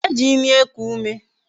E ji ịmị eku ume